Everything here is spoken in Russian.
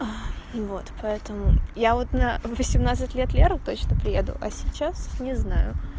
и вот поэтому я вот на восемнадцать лет леры точно приеду а сейчас не знаю